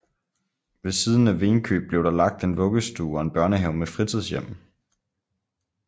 Ved siden af Venkøb blev der lagt en vuggestue og en børnehave med fritidshjem